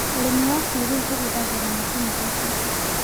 Ũrĩmi wa kĩrĩu ũhũthagĩran macini ta itinga